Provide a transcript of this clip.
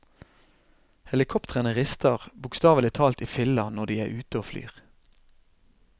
Helikoptrene rister bokstavelig talt i filler når de er ute og flyr.